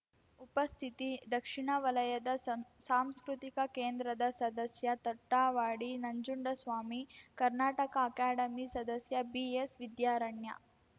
ಉಪಸ್ಥಿತಿ ದಕ್ಷಿಣ ವಲಯದ ಸಂಸಾಂಸ್ಕೃತಿ ಕೇಂದ್ರದ ಸದಸ್ಯ ತೊಟ್ಟವಾಡಿ ನಂಜುಂಡಸ್ವಾಮಿ ಕರ್ನಾಟಕ ಅಕಾಡೆಮಿ ಸದಸ್ಯ ಬಿಎಸ್‌ವಿದ್ಯಾರಣ್ಯ